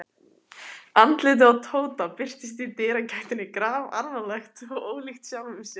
Andlitið á Tóta birtist í dyragættinni grafalvarlegt og ólíkt sjálfu sér.